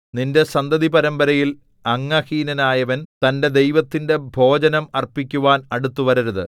നിന്റെ സന്തതിപരമ്പരയിൽ അംഗഹീനനായവൻ തന്റെ ദൈവത്തിന്റെ ഭോജനം അർപ്പിക്കുവാൻ അടുത്തുവരരുത്